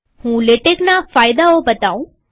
હું લેટેકના ફાયદાઓ બતાઉં